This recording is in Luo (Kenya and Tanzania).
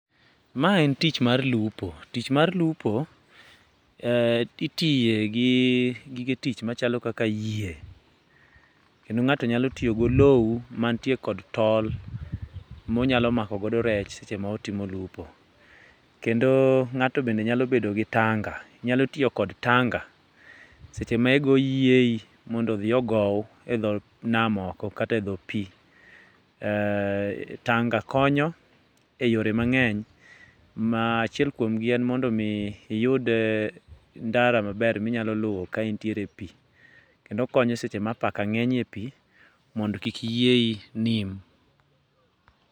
Ma en tich mar lupo. Tich mar lupo, itiye gi gige tich machalo kaka yie. Kendo ng'ato nyalo tiyo gi olou mantie kod tol ma onyalo mako go rech seche ma otimo lupo. Kendo ng'ato bende nyalo bedo gi tanga, nyalo tiyo kod tanga seche ma igoo yiei mondo odhi ogow e dho nam oko kata e dhoo pii. Tanga konyo e yore mang'eny ma achiel kuomgi en mondo mi iyud ndara maber ma inyalo luwo ka intiere e pii kendo okonyo seche ma apaka ng'eny e pii mondo kik yiei nim.